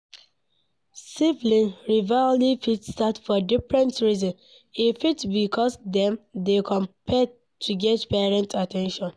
Sibling rivalry fit start for different reasons e fit be because dem dey compete to get parent at ten tion